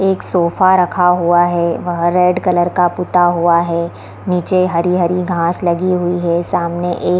एक सोफा रखा हुआ है वह रेड कलर का पोता हुआ है नीचे हरी-हरी घास लगी हुई है सामने एक --